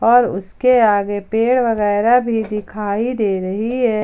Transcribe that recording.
और उसके आगे पेड़ वगैरा भी दिखाई दे रही है।